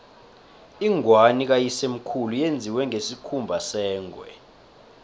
ingwani kayisemkhulu yenziwe ngesikhumba sengwe